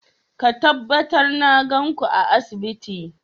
Ka tabbatar na gan ku a asibiti!